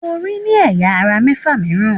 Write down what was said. Orí ní ẹ̀yà - ara mẹ́fà mìíràn.